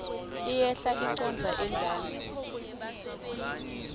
iyehla icondza entasi